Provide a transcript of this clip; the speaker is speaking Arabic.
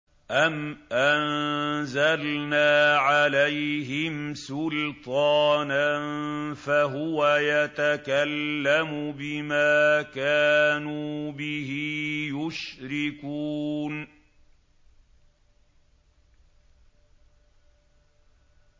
أَمْ أَنزَلْنَا عَلَيْهِمْ سُلْطَانًا فَهُوَ يَتَكَلَّمُ بِمَا كَانُوا بِهِ يُشْرِكُونَ